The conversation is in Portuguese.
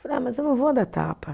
Ah, mas eu não vou dar tapa.